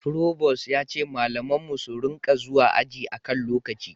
Provost ya ce malaman mu su ringa zuwa aji a kan lokaci